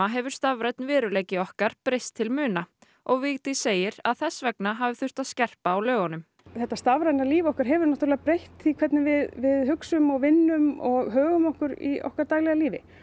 hefur stafrænn veruleiki okkar breyst til muna og Vigdís segir að þess vegna hafi þurft að skerpa á lögunum þetta stafræna líf okkar hefur breytt því hvernig við hugsum og vinnum og högum okkur í okkar daglegu lífi